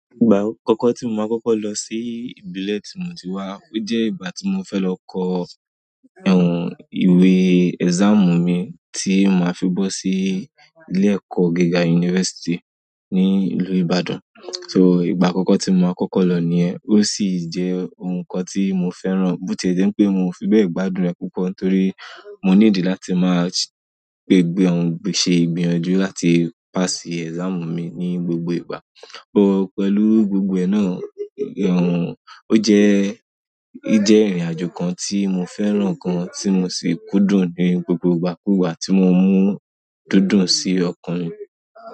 Ìgbà àkọ́kọ́ tí mo máa kọ́kọ́ lọ sí ìbílẹ̀ tí mo ti wá, ó jẹ́ ìgbà tí mo fẹ́ lọ kọ ẹ́hón ìwé exam mi tí màá fi bọ́ sí ilé-ẹ̀kọ́ gíga university ní ìlú Ibadan. So ìgbà àkọ́kọ́ tí mo máa kọ́kọ́ ló ni ẹ́. Ó sì jẹ́ ohun kan tí mo fẹ́ràn, bó ti jẹ́ pé mo fi bẹ́ẹ̀ gbàdúe púpọ̀ torí mo ní ìdí láti máa gbé ẹ́hón ṣe ìgbìyànjú láti pass exam mi ní gbogbo ìgbà. Ò pẹ̀lú gbogbo ẹ́ná ẹ̀hón, ó jẹ́, ó jẹ́ ìrìnàjò kan tí mo fẹ́ràn gan tí mo sì kúndùn ní gbogbo ìgbàkúùgbà tí mo mú dúndùn sí ọkàn mi.